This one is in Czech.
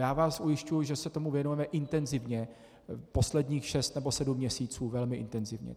Já vás ujišťuji, že se tomu věnujeme intenzivně, posledních šest nebo sedm měsíců velmi intenzivně.